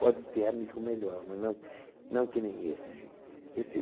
Pode ter amigo melhor, mas não não que nem esse.